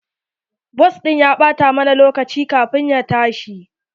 Bas ɗin ya ɓata mana lokaci kafin ya tashi.